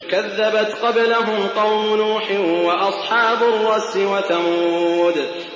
كَذَّبَتْ قَبْلَهُمْ قَوْمُ نُوحٍ وَأَصْحَابُ الرَّسِّ وَثَمُودُ